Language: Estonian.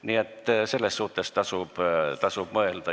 Nii et selle üle tasub mõelda.